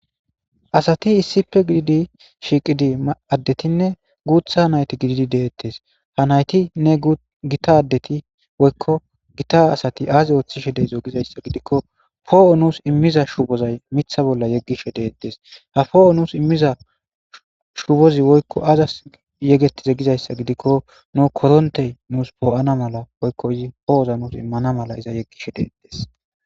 asati issipe gididi shiiqidii addetinne guutha h nayti gididi deettes ha nayti nne gita ddeti woykko gita asati aazi ooththishe deezo gizayssa gidikko poo7o nuus immiza shubozay mitha bolla yeggishe deettes ha poo7o nuus immiza shuupozi woykko aazas yegetize gizayssa gidikko nu korontey nuus poo7ana mala woykko izi poo7oza nuus immana mala iza yeggishe deettes